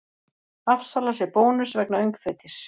Afsalar sér bónus vegna öngþveitis